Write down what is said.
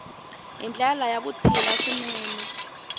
hi ndlela ya vutshila swinene